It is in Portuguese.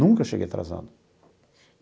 Nunca cheguei atrasado.